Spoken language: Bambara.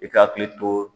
I ka hakili to